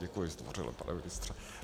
Děkuji zdvořile, pane ministře.